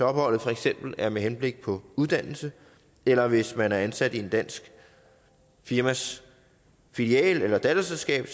opholdet for eksempel er med henblik på uddannelse eller hvis man er ansat i et dansk firmas filial eller datterselskab